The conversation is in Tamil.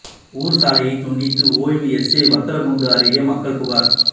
ஊர் சாலையை துண்டித்த ஓய்வு எஸ்ஐ வத்தலக்குண்டு அருகே மக்கள் புகார்